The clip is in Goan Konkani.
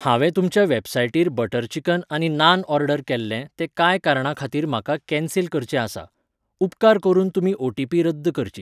हांवें तुमच्या वेबसायटीर बटर चिकन आनी नान ऑर्डर केल्लें तें कांय कारणा खातीर म्हाका कॅन्सिल करचें आसा. उपकार करून तुमी ओटीपी रद्द करची